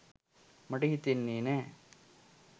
මට හිතෙන්නෙ නෑ